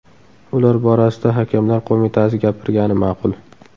Ular borasida Hakamlar Qo‘mitasi gapirgani ma’qul.